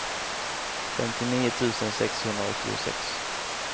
femtionio tusen sexhundraåttiosex